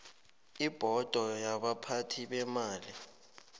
ibhodo yabaphathi beemali